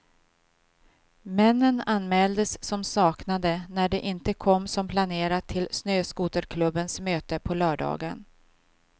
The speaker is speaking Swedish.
Männen anmäldes som saknade när de inte kom som planerat till snöskoterklubbens möte på lördagen.